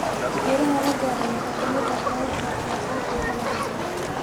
Guulaha la gaaray waxaa ka mid ah kororka wax soo saarka dalagga.